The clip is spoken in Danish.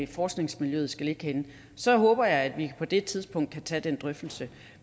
forskningsmiljøer skal ligge henne så håber jeg at vi på det tidspunkt kan tage den drøftelse